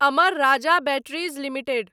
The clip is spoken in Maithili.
Amar Raja Batteries limited